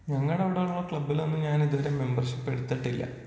ഞങ്ങളവിടെയുള്ള ക്ലബ്ബിലൊന്നും ഞാൻ ഇതുവരെ മെമ്പർഷിപ്പ് എടുത്തിട്ടില്ല.